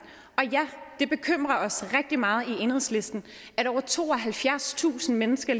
og ja det bekymrer os rigtig meget i enhedslisten at over tooghalvfjerdstusind mennesker